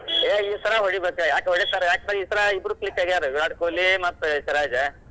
ಹೇ ಈ ಸಲ ಹೊಡಿಬೇಕ್ ಯಾಕ್ ಹೊಡಿತಾರ್ ಯಾಕಂದ್ರ ಈ ಸಲ ಇಬ್ಬರೂ click ಆಗ್ಯಾರ ವಿರಾಟ್ ಕೊಹ್ಲಿ ಮತ್ ಸಿರಾಜ.